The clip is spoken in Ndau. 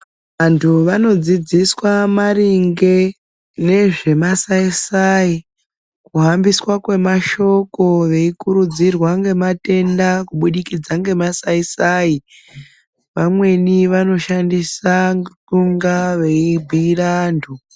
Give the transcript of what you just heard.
Antu vanodzidziswa maringe nezvemasai sai kuhambiswa kwemashoko veikurudzirwa ngematenda kubudikidza ngemasaisai vamweni vanoshandisa ngekunga veibiira antu.